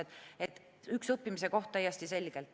Täiesti selgelt üks õppimise koht.